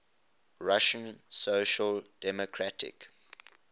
russian social democratic